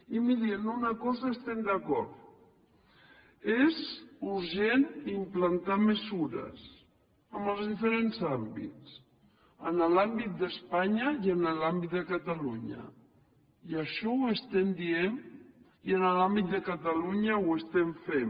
i miri en una cosa estem d’acord és urgent implantar mesures en els diferents àmbits en l’àmbit d’espanya i en l’àmbit de catalunya i això ho estem dient i en l’àmbit de catalunya ho estem fent